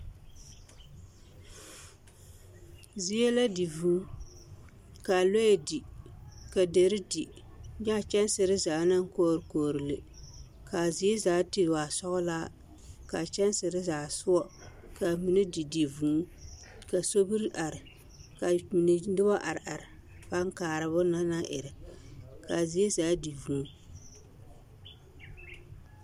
Zie la di vuu ka lɔɛ di ka deri di nyɛ a kyɛnsiri zaa kɔgre kɔgre le ka a zie zaa te waa sɔglaa ka a kyɛnsiri zaa sɔge ka a mine yɔ di di vuu ka sobiri are ka mine noba are are a paa kaara bonne na naŋ erɛ ka a zie zaa di vuu.